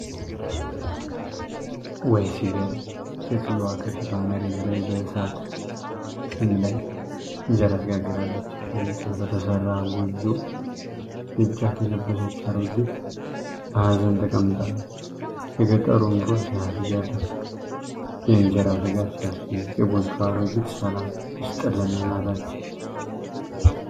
ውይ ሲገርም! ሴትየዋ ከፊቷ መሬት ላይ በእሳት ፍም ላይ እንጀራ ትጋግራለች። ከእንጨት በተሰራ ጎጆ ደጃፍ የለበሰች አሮጊት በሀዘን ተቀምጣለች። የገጠሩ ኑሮ ሲያስገርም! የእንጀራ ትጋት ሲያስደንቅ! የጎጆዋ አሮጊት ሰላም ይስጥልን እናታችን።